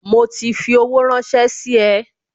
Mo ti fi owó ranse sí e